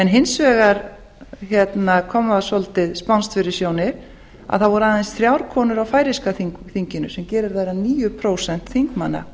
hins vegar kom það svolítið spánskt fyrir sjónir að það voru aðeins þrjár konur á færeyska þinginu sem gerir þær að níu prósent þingmanna